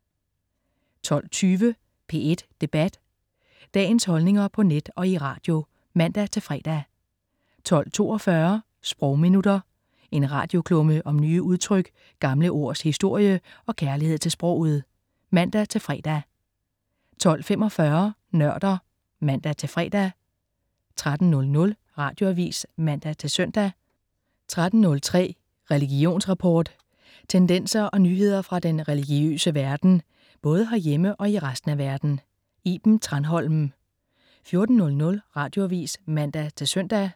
12.20 P1 Debat. Dagens holdninger på net og i radio (man-fre) 12.42 Sprogminutter. En radioklumme om nye udtryk, gamle ords historie og kærlighed til sproget (man-fre) 12.45 Nørder (man-fre) 13.00 Radioavis (man-søn) 13.03 Religionsrapport. Tendenser og nyheder fra den religiøse verden, både herhjemme og i resten af verden. Iben Thranholm 14.00 Radioavis (man-søn)